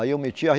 Aí eu meti.